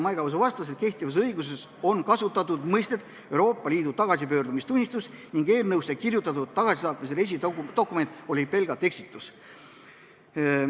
Maiga Võsu vastas, et kehtivas õiguses on kasutatud mõistet "Euroopa Liidu tagasipöördumistunnistus" ning eelnõusse kirjutatud "tagasisaatmise reisidokument" oli pelgalt eksitus.